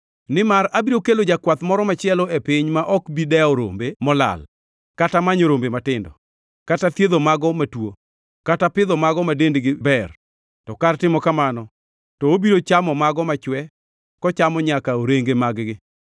Nimar abiro kelo jakwath moro machielo e piny ma ok bi dewo rombe molal, kata manyo rombe matindo, kata thiedho mago matuo, kata pidho mago ma dendgi ber, to kar timo kamano, to obiro chamo mago machwe kochamo nyaka orenge mag-gi.